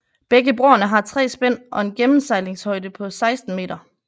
Begge broerne har 3 spænd og en gennemsejlingshøjde på 16 meter